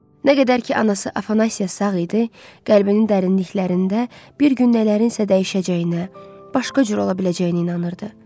Nə qədər ki, anası Afanasiya sağ idi, qəlbinin dərinliklərində bir gün nələrinnsə dəyişəcəyinə, başqa cür ola biləcəyinə inanırdı.